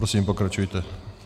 Prosím, pokračujte.